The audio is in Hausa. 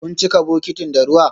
Kun cika bokitin da ruwa?